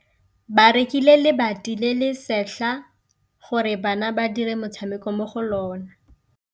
Ba rekile lebati le le setlha gore bana ba dire motshameko mo go lona.